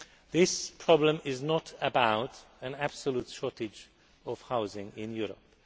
This problem is not about an absolute shortage of housing in Europe.